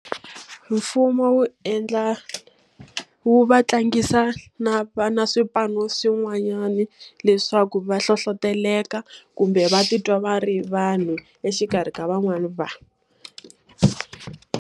Mfumo wu endla wu va tlangisa na na swipano swin'wanyana leswaku va hlohletela kumbe va titwa va ri vanhu exikarhi ka van'wana vanhu.